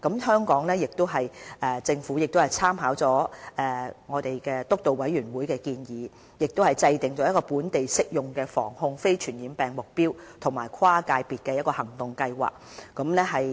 香港政府亦參考了防控非傳染病督導委員會的建議，制訂了本地適用的防控非傳染病目標和跨界別的行動計劃。